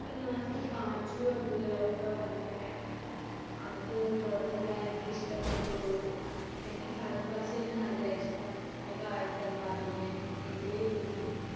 ഇപ്പൊ last പാച്ചുവും അദ്‌ഭുതവിളക്കുമാണ് കണ്ടത്. അത് കുഴപ്പമില്ല. എനിക്ക് ഇഷ്ടപ്പെട്ടു. എനിക്ക് ഫഹദ് ഫാസിൽ നെ നല്ല ഇഷ്ടാ. അഭിനയം ഒരേ